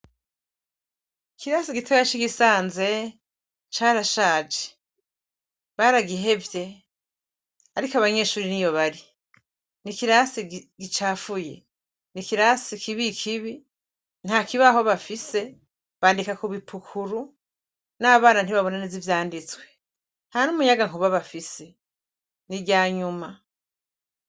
Ikirasi gitoya c'i Gisanze carashaje, baragihevye, ariko abanyeshure niyo bari n'ikirasi gicafuye, n'ikirasi kibi kibi, nta kibaho bafise, bandika kubipukuru, n'abana ntibabona neza ivyanditswe, ntanumuyagankuba bafise n'iryanyuma.